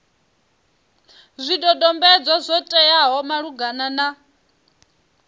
zwidodombedzwa zwo teaho malugana na